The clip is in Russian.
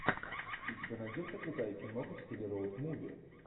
у тебя найдется крутая киноха в стиле роуд муви